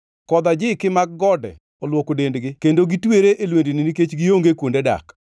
Kodh ajiki mag gode olwoko dendgi kendo gitwere e lwendni nikech gionge kuonde dak.